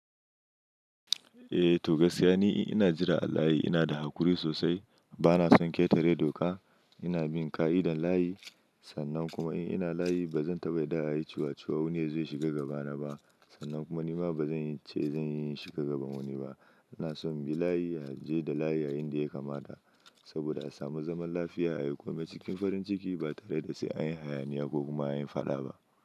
Eh to gaskiya ni ina jira alayi, ina da hakuri sosai. Bana son ƙeta re doka. Ina bin ƙa'idar layi. Sannan kuma in ina layi ba zan taɓa yarda a yi ciwaciwa wani yazo yashiga gaba na ba. Sannan kuma nima ba zan ce zan yi shi ka gaba wani ba. Ina so in bi layi, a je da layi, a yin dai kama ta. Saboda a samu zaman lafiya a yi komai cikin farin ciki ba tare da sai an yi hayaniya ko kuma an yi faɗa ba.